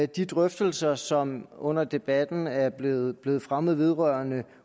de drøftelser som under debatten er blevet blevet fremmet vedrørende